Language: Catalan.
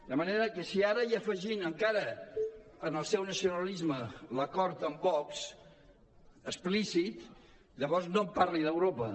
de manera que si ara hi afegim encara al seu nacionalisme l’acord amb vox explícit llavors no em parli d’europa